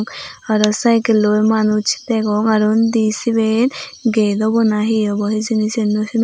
aro saikelloi manuj degong aro undi siben gate obo na hi obo hijeni siyen naw sinongor.